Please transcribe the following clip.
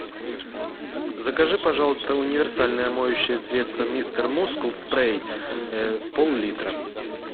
закажи пожалуйста универсальное моющее средство мистер мускул спрей пол литра